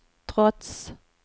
trots